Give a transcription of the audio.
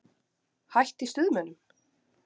Hætt í Stuðmönnum?